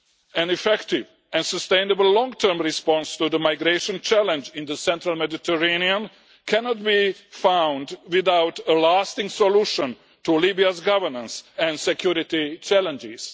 An effective and sustainable long term response to the migration challenge in the central Mediterranean cannot be found without a lasting solution to Libya's governance and security challenges.